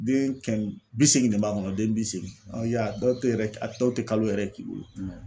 Den kɛmɛ bi seegin de b'a kɔnɔ den bi seegin awɔ i y'a ye a dɔw tɛ yɛrɛ a dɔw tɛ kalo yɛrɛ k'i bolo